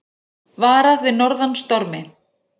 Varað við norðan stormi